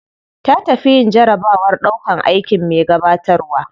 Ta tafi yin jarabawar ɗaukan aikin me gabatarwa.